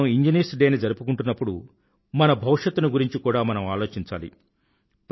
ఇప్పుడు మనం engineers day ని జరుపుకుంటున్నప్పుడు మన భవిష్యత్తుని గురించి కూడా మనం ఆలోచించాలి